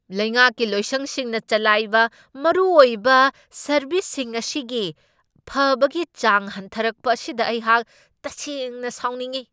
ꯂꯩꯉꯥꯛꯀꯤ ꯂꯣꯏꯁꯪꯁꯤꯡꯅ ꯆꯂꯥꯏꯕ ꯃꯔꯨꯑꯣꯏꯕ ꯁꯔꯕꯤꯁꯁꯤꯡ ꯑꯁꯤꯒꯤ ꯐꯕꯒꯤ ꯆꯥꯡ ꯍꯟꯊꯔꯛꯄ ꯑꯁꯤꯗ ꯑꯩꯍꯥꯛ ꯇꯁꯦꯡꯅ ꯁꯥꯎꯅꯤꯡꯢ ꯫